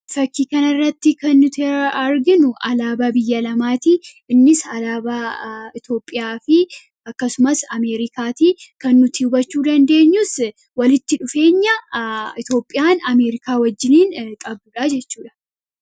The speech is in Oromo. fakkiikan irratti kan nuti arginu alaaba biyya lamaatii innis alaaba itoophiyaa fi akkasumas ameerikaatii kan nuti ubachuu dandeenyus walitti dhufeenya itoophiyaan ameerikaa wajjinin qabudhaa jechuudha